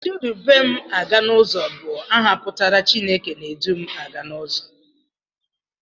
Chidumaganụzọ bụ aha pụtara 'Chineke na-edu m aga n'ụzọ'